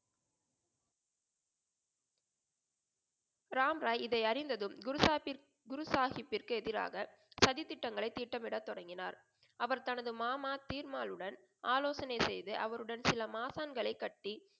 ராம் ராய் இதை அறிந்ததும் குரு சாஹிபுக்கு குரு சாஹிபுக்கு எதிராக சதி திட்டங்களை தீட்டம் மிட தொடங்கினார். அவர் தனது மாமா தீ'ர்மாளுடன் ஆலோசனை செய்து அவருடன் சில மாசாங்களை கட்டி